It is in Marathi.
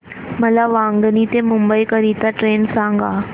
मला वांगणी ते मुंबई करीता ट्रेन सांगा